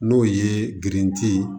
N'o ye gerenti ye